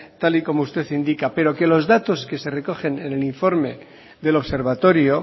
tal y como usted indica pero que los datos que se recogen en el informe del observatorio